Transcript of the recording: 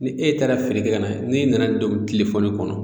Ni e taara feere kɛ ka na n'e nana don tile fɔlen kɔnɔ